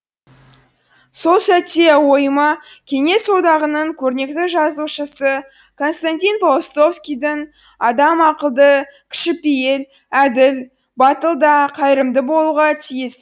сол сәтте ойыма кеңес одағының көрнекті жазушысы константин паустовскийдің адам ақылды кішіпейіл әділ батыл да қайырымды болуға тиіс